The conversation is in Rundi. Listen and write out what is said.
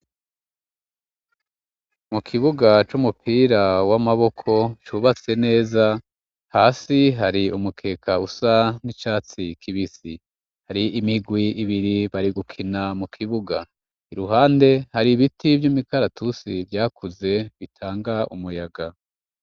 Mu kibuga c'umupira w'amaboko, cubatse neza, hasi hari umukeka usa n'icatsi k'ibisi, hari imigwi ibiri bari gukina mu kibuga ,iruhande hari ibiti vy'imikaratusi vyakuze bitanga umuyaga.